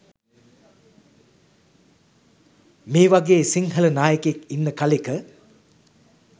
මේවගේ සිංහල නායකයෙක් ඉන්න කලෙක